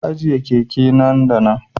Ki ajiye keke na nan da nan